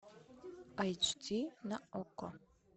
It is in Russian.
айч ди на окко